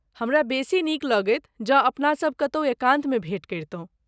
हमरा बेसी नीक लगैत जँ अपना सभ कतहु एकान्तमे भेँट करितहुँ।